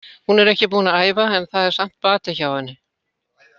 Hún er ekki búin að æfa en það er samt bati hjá henni.